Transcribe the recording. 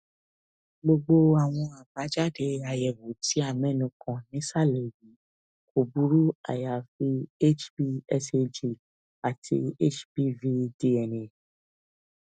gbogbo àwọn àbájáde àyẹwò tí a mẹnu kàn nísàlẹ yìí kò burú àyàfi hbsag àti hbvdna